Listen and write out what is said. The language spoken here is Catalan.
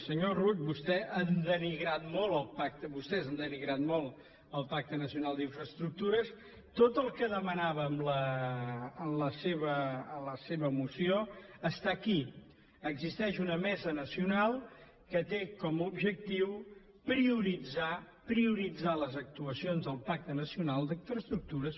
senyor rull vostès han denigrat molt el pacte vostès han denigrat molt el pacte nacional d’infraestructures tot el que demanaven en la seva moció està aquí existeix una mesa nacional que té com a objectiu prioritzar prioritzar les actuacions del pacte nacional d’infraestructures